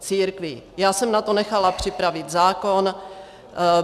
Já jsem na to nechala připravit zákon.